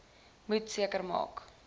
moet seker maak